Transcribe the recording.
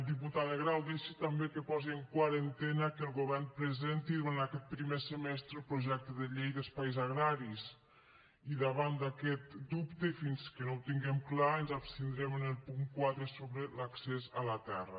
diputada grau deixi també que posi en quarantena que el govern presenti durant aquest primer semestre el projecte de llei d’espais agraris i davant d’aquest dubte i fins que no ho tinguem clar ens abstindrem en el punt quatre sobre l’accés a la terra